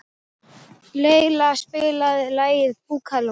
Leila, spilaðu lagið „Búkalú“.